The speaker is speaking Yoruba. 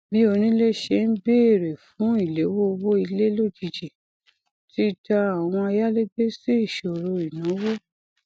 bí onílé ṣe n béèrè fún ìléwó owó ilé lójijì ti dà àwọn ayálégbé sí ìṣòro ìnáwó